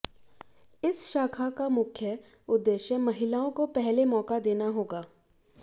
इस शाखा का मुख्य उद्देश्य महिलाओं को पहले मौका देना होगा